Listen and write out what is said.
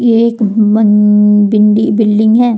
यह एक बिल्डिंग है।